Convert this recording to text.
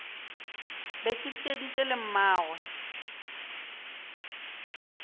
be ke theeditše le mmagwe